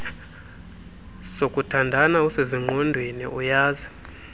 sokuthandana usezingqondweni uyazi